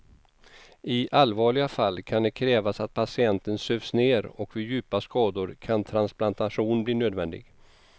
I allvarliga fall kan det krävas att patienten sövs ner och vid djupa skador kan transplantation bli nödvändig.